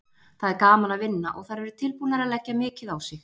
Það er gaman að vinna og þær eru tilbúnar að leggja mikið á sig.